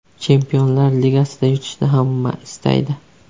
Chempionlar ligasida yutishni hamma istaydi.